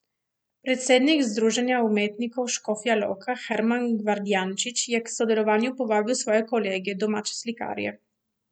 Predsednik Združenja umetnikov Škofja Loka Herman Gvardjančič je k sodelovanju povabil svoje kolege, domače slikarje.